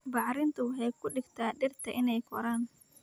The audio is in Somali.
Bacrintu waxay ka dhigtaa dhirta inay koraan